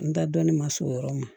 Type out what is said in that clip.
N ta dɔnnin ma s'o yɔrɔ ma